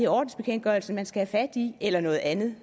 ordensbekendtgørelsen man skal have fat i eller noget andet